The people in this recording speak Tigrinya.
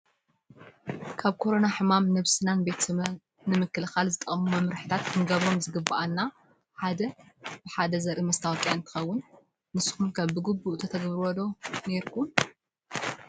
ካብ ኮሮና ሕማም ነብስናን ቤተሰብናን ንምክልካል ዝጠቅሙ መምርሕታት ክንገብሮም ዝግበአና ሓደ ብሓደ ዘርኢ መስታወቅያ እንትከውን፤ ንስኩም'ከ ብጉቡእ ተተግብርዎ ዶ ነርኩም?